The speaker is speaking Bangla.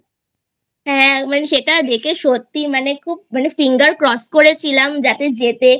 হ্যাঁ মানে সেটা দেখে সত্যি মানে খুব মানে Finger Cross করেছিলাম যাতে জেতে